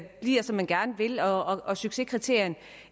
bliver som man gerne vil og at succeskriterierne